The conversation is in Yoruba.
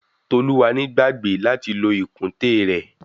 Toluwani gbàgbé láti lo ìkùntèe rẹ̀.